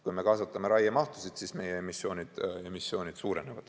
Kui me kasvatame raiemahtusid, siis meie emissioonid suurenevad.